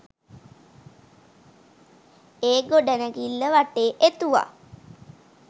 ඒ ගොඩනැගිල්ල වටේ එතුවා.